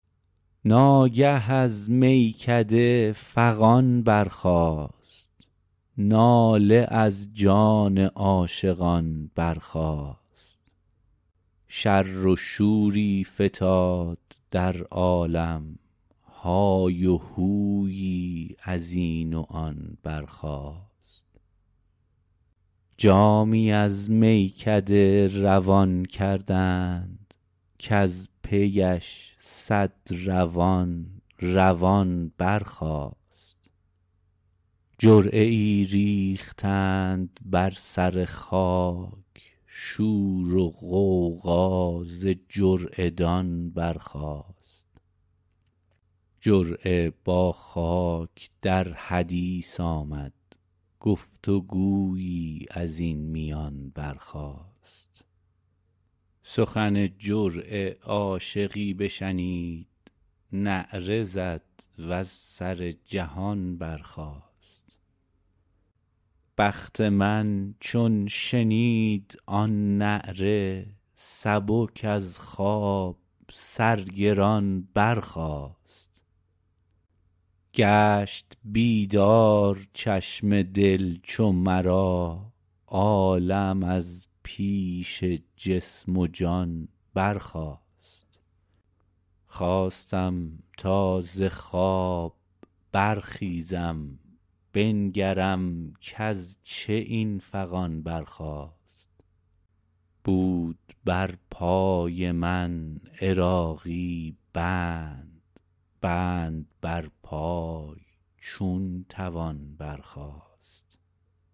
ناگه از میکده فغان برخاست ناله از جان عاشقان برخاست شر و شوری فتاد در عالم های و هویی از این و آن برخاست جامی از میکده روان کردند در پیش صد روان روان برخاست جرعه ای ریختند بر سر خاک شور و غوغا ز جرعه دان برخاست جرعه با خاک در حدیث آمد گفت و گویی از این میان برخاست سخن جرعه عاشقی بشنید نعره زد وز سر جهان برخاست بخت من چون شنید آن نعره سبک از خواب سر گران برخاست گشت بیدار چشم دل چو مرا عالم از پیش جسم و جان برخاست خواستم تا ز خواب برخیزم بنگرم کز چه این فغان برخاست بود بر پای من عراقی بند بند بر پای چون توان برخاست